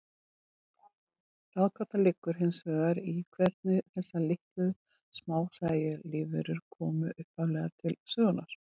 Ráðgátan liggur hins vegar í hvernig þessar litlu, smásæju lífverur komu upphaflega til sögunnar.